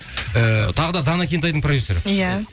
ііі тағы да дана кентайдың продюссері иә